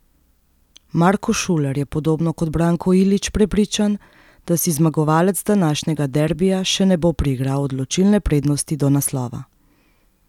Marko Šuler je podobno kot Branko Ilić prepričan, da si zmagovalec današnjega derbija še ne bo priigral odločilne prednosti do naslova.